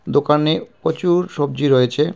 দোকানে পচুর সবজি রয়েছে.